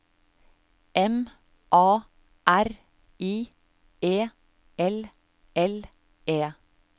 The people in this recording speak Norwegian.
M A R I E L L E